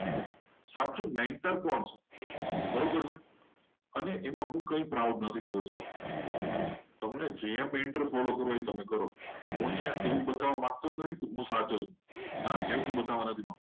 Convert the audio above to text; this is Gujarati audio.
સાચો mentor કોણ છે? બરોબર છે અને એમાં હું કંઈ proud નથી. લેતો જો તમને એમ enter follow કરવો હોય. તો તમે એ કરો. હું અહીંયા એવું બતાવવા માંગતો જ નથી કે હું સાચો છું. ના એવું હું બતાવવા નથી માંગતો.